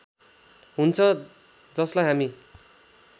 हुन्छ जसलाई हामी